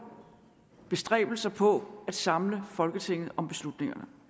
bestræbelser på at samle folketinget om beslutningerne